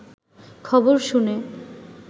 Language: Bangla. খবর শুনে